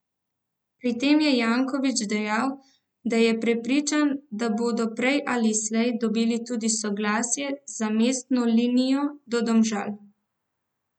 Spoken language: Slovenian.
Pri tem je Janković dejal, da je prepričan, da bodo prej ali slej dobili tudi soglasje za mestno linijo do Domžal.